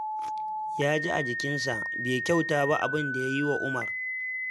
Ya ji a jikinsa bai kyauta ba abin da ya yi wa umar